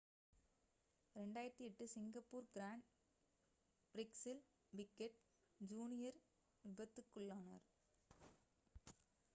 2008 Singapore grand பிரிக்ஸில் Piquet junior விபத்துக்குள்ளானார்